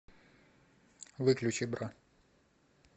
выключи бра